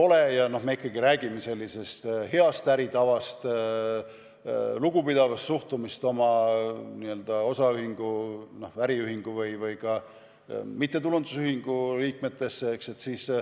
Me ju ikkagi räägime heast äritavast, lugupidavast suhtumisest oma osaühingu, äriühingu või ka mittetulundusühingu liikmetesse.